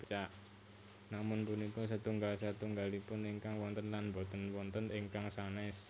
Namung punika setunggal setunggalipun ingkang wonten lan boten wonten ingkang sanès